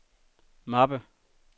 mappe